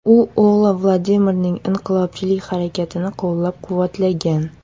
U o‘g‘li Vladimirning inqilobchilik harakatini qo‘llab-quvvatlagan.